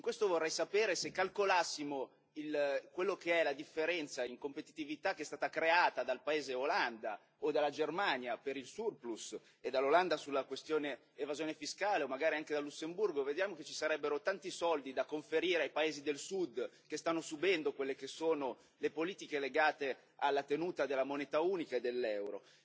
In questo vorrei sapere se calcolassimo quello che è la differenza in competitività che è stata creata dal paese Olanda, o dalla Germania per il surplus e dall'Olanda sulla questione dell'evasione fiscale, o magari anche da Lussemburgo, vediamo che ci sarebbero tanti soldi da conferire ai paesi del Sud che stanno subendo quelle che sono le politiche legate alla tenuta della moneta unica e dell'Euro.